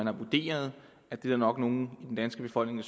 har vurderet at der nok er nogle i den danske befolkning